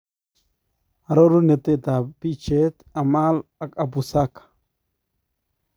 Aroruneetab picheet ,Amal ak Apu Sarker.